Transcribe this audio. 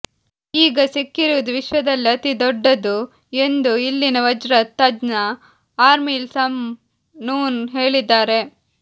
ಈಗ ಸಿಕ್ಕಿರುವುದು ವಿಶ್ವದಲ್ಲೇ ಅತಿದೊಡ್ಡದು ಎಂದು ಇಲ್ಲಿನ ವಜ್ರ ತಜ್ಞ ಅರ್ಮಿಲ್ ಸಮ್ ನೂನ್ ಹೇಳಿದ್ದಾರೆ